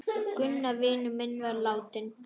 Gunnar vinur minn var látinn.